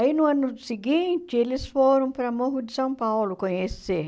Aí, no ano seguinte, eles foram para Morro de São Paulo conhecer.